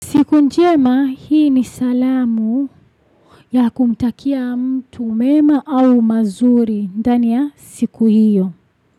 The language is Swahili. Siku njema hii ni salamu ya kumtakia mtu mema au mazuri, ndani ya siku hiyo.